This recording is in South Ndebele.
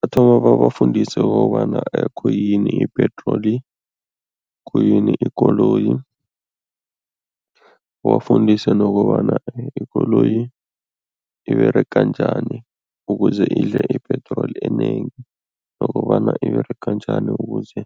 Bathoma babafundise kobana khuyini ipetroli, khuyini ikoloyi, babafundise nokobana ikoloyi iberega njani ukuze idle ipetroli enengi nokobana iberega njani ukuze